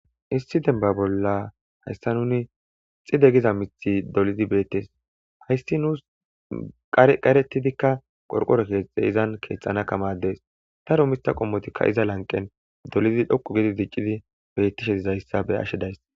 Issi denba bolla hayssa nuni xide giza mithi dolidi beettes hayssi nuus qar qaretidikka qorqore keexxe izan keexxana kamadees ta roomita qommotikka iza lanqen dolidi dhoqu gidi diccidi bettishe dizayssa be ashe days.